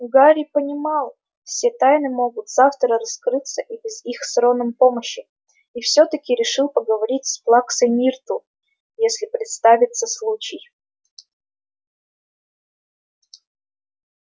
гарри понимал все тайны могут завтра раскрыться и без их с роном помощи и всё-таки решил поговорить с плаксой миртл если представится случай